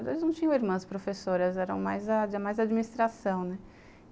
Eles não tinham irmãs professoras, eram mais administração, né.